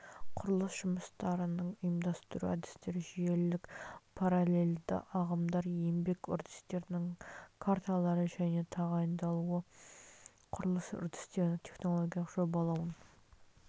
құрылыс жұмыстарының ұйымдастыру әдістер жүйелілік параллельді ағымды еңбек үрдістерінің карталары және тағайындалуы құрылыс үрдістерінің технологиялық жобалауын